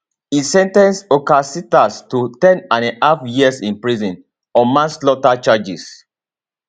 e sen ten ce horcasitas to 10andahalf years in prison on manslaughter charges